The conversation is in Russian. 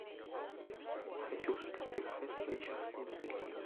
хочу шекспир и хэтэуэй частные детективы